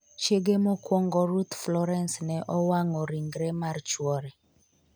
Chiege mokwongo Ruth Florence ne owang'o ringre mar chwore